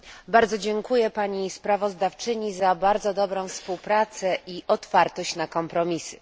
Bardzo dziękuję pani sprawozdawczyni za bardzo dobrą współpracę i otwartość na kompromisy.